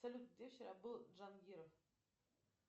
салют где вчера был джангиров